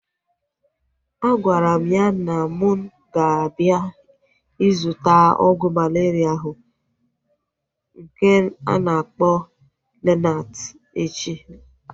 Agwara m ya na mụ ga-abịa ịzụta ọgwụ malaria ahụ nke a na-akpọ Lonart echi